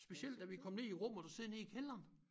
Specielt da vi kom ned i æ rum og du sidder nede i kælderen